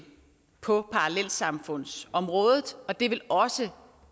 på parallelsamfundsområdet og det vil også